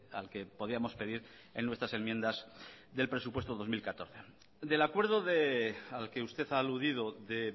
al que podíamos pedir en nuestras enmiendas del presupuesto dos mil catorce del acuerdo al que usted ha aludido de